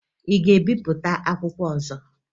Ị ga-ebipụta akwụkwọ ọzọ?